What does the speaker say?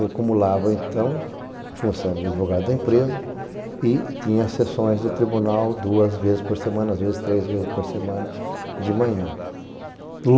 Eu acumulava, então, a função de advogado da empresa e tinha sessões do tribunal duas vezes por semana, às vezes três vezes por semana, de manhã.